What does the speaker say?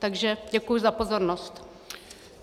Takže děkuji za pozornost.